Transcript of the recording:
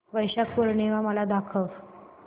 वैशाख पूर्णिमा मला दाखव